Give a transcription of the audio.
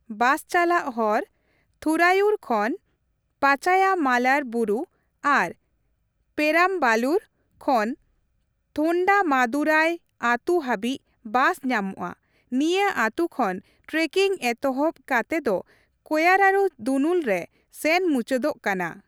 ᱵᱟᱥ ᱪᱟᱞᱟᱜ ᱦᱚᱨᱺ ᱛᱷᱩᱨᱟᱭᱩᱨ ᱠᱷᱚᱱ ᱯᱟᱪᱟᱭᱢᱟᱞᱟᱭ ᱵᱩᱨᱩ ᱟᱨ ᱯᱮᱨᱟᱢᱵᱟᱞᱩᱨ ᱠᱷᱚᱱ ᱛᱷᱳᱱᱰᱟᱢᱟᱱᱛᱷᱩᱨᱟᱭ ᱟᱛᱩ ᱦᱟᱹᱵᱤᱡ ᱵᱟᱥ ᱧᱟᱢᱚᱜᱼᱟ ᱾ ᱱᱤᱭᱟᱹ ᱟᱛᱩ ᱠᱷᱚᱱ ᱴᱨᱮᱠᱤᱝ ᱮᱛᱚᱦᱚᱵ ᱠᱟᱛᱮ ᱫᱚ ᱠᱳᱨᱟᱭᱟᱨᱩ ᱫᱩᱱᱩᱞ ᱨᱮ ᱥᱮᱱ ᱢᱩᱪᱟᱹᱫᱚᱜ ᱠᱟᱱᱟ ᱾